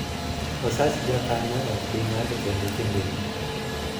osach jakeno ok bii ng'adi kendo kinde ni